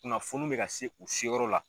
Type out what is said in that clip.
Kunnafoni bɛ ka se u seyɔrɔ la.